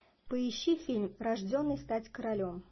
поищи фильм рожденный стать королем